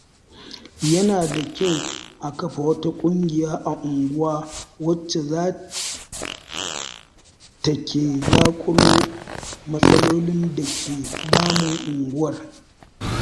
Yana da kyau a kafa wata ƙungiya a unguwa wacce za ta ke zaƙulo matsalolin da ke damun unguwar.